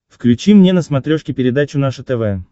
включи мне на смотрешке передачу наше тв